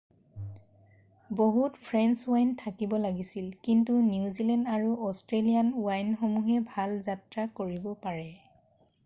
বহুত French wine থাকিব লাগিছিল কিন্তু নিউজিলেণ্ড আৰু অষ্ট্ৰেলীয়ান ৱাইনসমূহে ভাল যাত্ৰা কৰিব পাৰে৷